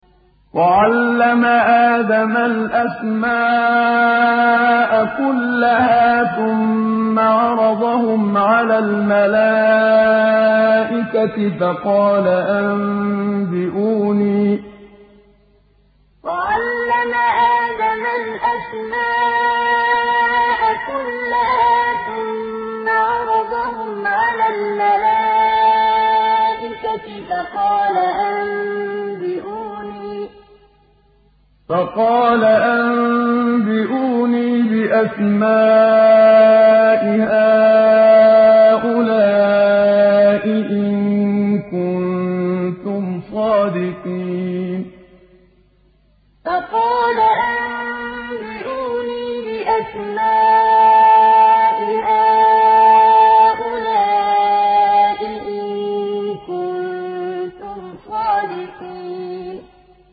وَعَلَّمَ آدَمَ الْأَسْمَاءَ كُلَّهَا ثُمَّ عَرَضَهُمْ عَلَى الْمَلَائِكَةِ فَقَالَ أَنبِئُونِي بِأَسْمَاءِ هَٰؤُلَاءِ إِن كُنتُمْ صَادِقِينَ وَعَلَّمَ آدَمَ الْأَسْمَاءَ كُلَّهَا ثُمَّ عَرَضَهُمْ عَلَى الْمَلَائِكَةِ فَقَالَ أَنبِئُونِي بِأَسْمَاءِ هَٰؤُلَاءِ إِن كُنتُمْ صَادِقِينَ